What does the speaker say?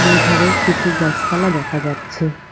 দুধারে কিছু গাছপালা দেখা যাচ্ছে।